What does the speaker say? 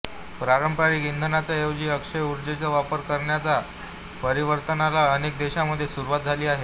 पारंपारिक इंधना ऐवजी अक्षय ऊर्जेचा वापर करण्याच्या परिवर्तनाला अनेक देशांमधे सुरूवात झाली आहे